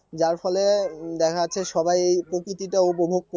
যার ফলে দেখা যাচ্ছে সবাই প্রকৃতিটা উপভোগ